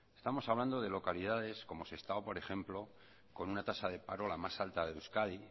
estamos hablando de localidades como sestao por ejemplo con una tasa de paro la más alta de euskadi